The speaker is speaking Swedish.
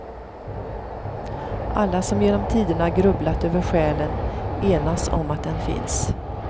Alla som genom tiderna grubblat över själen enas om att den finns.